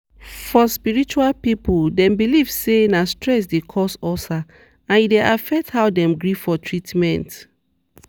for spiritual people dem believe say na stress dey cause ulcer and e dey affect how dem gree for treatment.